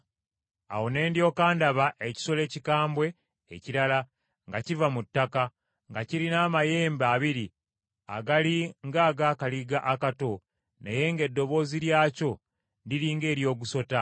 Awo ne ndyoka ndaba ekisolo ekikambwe ekirala nga kiva mu ttaka, nga kirina amayembe abiri agali ng’ag’akaliga akato naye ng’eddoboozi lyakyo liri ng’ery’ogusota.